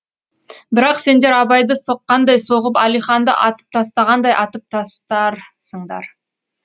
бірақ сендер абайды соққандай соғып әлиханды атып тастағандай атып тастарсыңдар